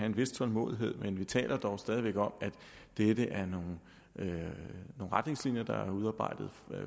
en vis tålmodighed men vi taler stadig om nogle retningslinjer der blev udarbejdet